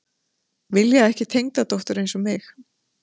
Vilja ekki tengdadóttur eins og mig